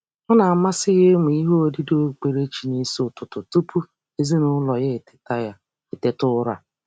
Ọ na-amasị ya ịmụ ihe odide okpukperechi n'isi ụtụtụ tụpụ ezinaụlọ ya eteta ya eteta ụra.